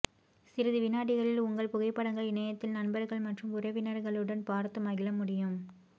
சிறிது வினாடிகளில் உங்கள் புகைப்படங்கள் இணையத்தில் நண்பர்கள் மற்றும் உறவினர்களுடன் பார்த்து மகிழமுடியும்